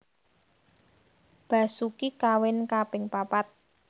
Basoeki kawin kaping papat